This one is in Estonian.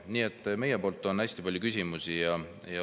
Nii et meil on hästi palju küsimusi.